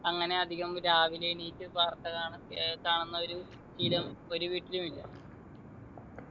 അങ്ങനെ അധികം രാവിലെ എണീറ്റ് വാർത്ത കാണാ ഏർ കാണുന്നവരും സ്ഥിരം ഒരു വീട്ടിലും ഇല്ല